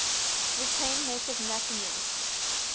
retained native masonry